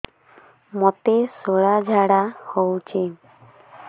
ମୋତେ ଶୂଳା ଝାଡ଼ା ହଉଚି